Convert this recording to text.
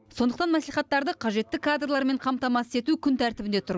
сондықтан мәслихаттарды қажетті кадрлармен қамтамасыз ету күн тәртібінде тұр